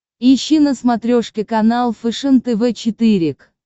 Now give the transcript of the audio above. ищи на смотрешке канал фэшен тв четыре к